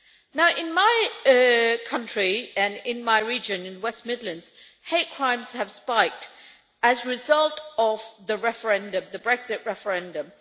Now, in my country and in my region of West Midlands, hate crimes have spiked as a result of the referendum, the Brexit referendum.